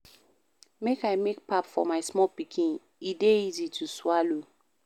Make I make pap for my small pikin, e dey easy to swallow.